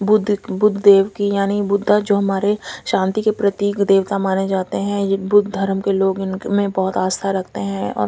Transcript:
बुध देव की याणी बुधा जो हमारे शांति के प्रतीक देवता माने जाते है जो बोध धरम के लोग उनमे बोहोत आस्था रखते है।